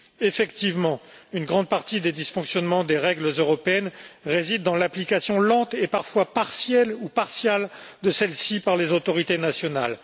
Effectivement, une grande partie des dysfonctionnements des règles européennes réside dans l'application lente et parfois partielle ou partiale de celles ci par les autorités nationales.